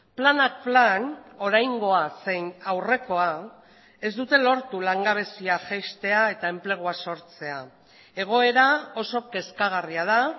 planak plan oraingoa zein aurrekoa ez dute lortu langabezia jaistea eta enplegua sortzea egoera oso kezkagarria da